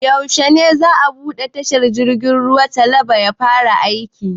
Yaushe ne za a buɗe tashar jirgin ruwan Calabar ya fara aiki?